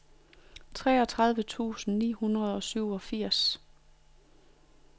treogtredive tusind ni hundrede og syvogfirs